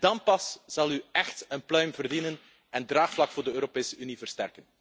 Dan pas zult u echt een pluim verdienen en het draagvlak voor de Europese Unie versterken.